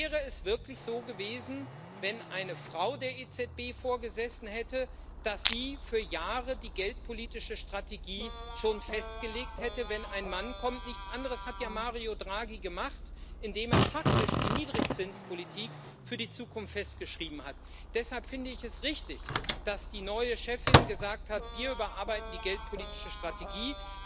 Wäre es wirklich so gewesen, wenn eine Frau der EZB vorgesessen hätte, dass sie für Jahre die geldpolitische Strategie schon festgelegt hätte, wenn ein Mann kommt? Nichts anderes hat ja Mario Draghi gemacht, indem er faktisch die Niedrigzinspolitik für die Zukunft festgeschrieben hat. Deshalb finde ich es richtig, dass die neue Chefin gesagt hat Wir überarbeiten die geldpolitische Strategie.